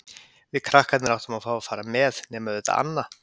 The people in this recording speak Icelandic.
Við krakkarnir áttum að fá að fara með, nema auðvitað Anna.